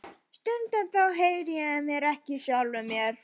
Stundum heyri ég ekki í sjálfum mér.